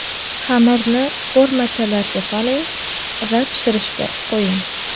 Xamirni formachalarga soling va pishirishga qo‘ying.